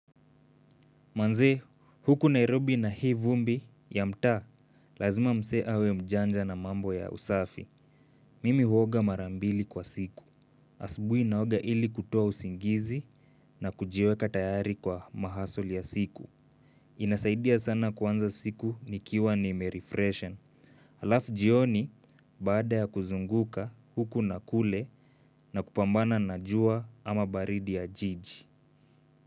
Manze, huku Nairobi na hii vumbi ya mtaa, lazima msee awe mjanja na mambo ya usafi. Mimi huoga mara mbili kwa siku. Asubuhi naoga ili kutoa usingizi na kujiweka tayari kwa mahustle ya siku. Inasaidia sana kuanza siku nikiwa nimerefreshen. Halafu jioni, baada ya kuzunguka huku na kule na kupambana na jua ama baridi ya jiji.